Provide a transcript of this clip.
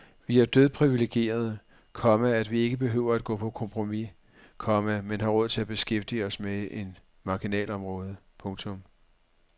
Vi er dødpriviligerede, komma at vi ikke behøver at gå på kompromis, komma men har råd til at beskæftige os med et marginalområde. punktum